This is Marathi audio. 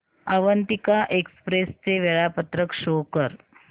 अवंतिका एक्सप्रेस चे वेळापत्रक शो कर